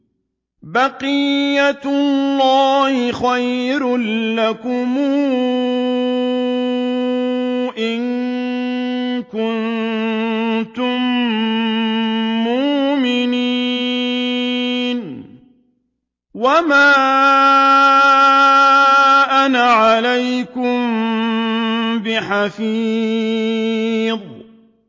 بَقِيَّتُ اللَّهِ خَيْرٌ لَّكُمْ إِن كُنتُم مُّؤْمِنِينَ ۚ وَمَا أَنَا عَلَيْكُم بِحَفِيظٍ